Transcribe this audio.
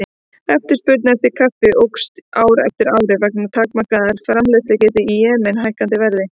Eftirspurn eftir kaffi jókst ár frá ári og vegna takmarkaðrar framleiðslugetu í Jemen hækkaði verð.